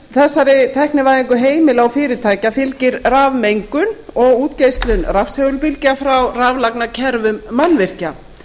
þessari tæknivæðingu heimila og fyrirtækja fylgir rafmengun og útgeislun rafsegulbylgna frá raflagnakerfum mannvirkja